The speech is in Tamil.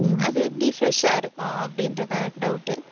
உம் அது எப்படி fresh ஆ இருக்கும் அப்படின்றதுதான் எனக்கு doubt